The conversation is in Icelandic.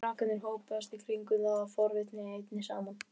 Krakkarnir hópast í kringum þá af forvitni einni saman.